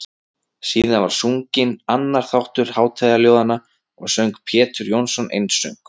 Síðan var sunginn annar þáttur hátíðarljóðanna og söng Pjetur Jónsson einsöng.